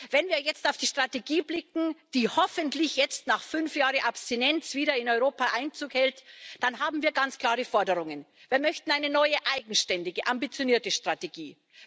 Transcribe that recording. Wenn wir jetzt auf die Strategie blicken, die hoffentlich jetzt nach fünf Jahren Abstinenz wieder in Europa Einzug hält, dann haben wir ganz klare Forderungen Wir möchten eine neue, eigenständige, ambitionierte Strategie.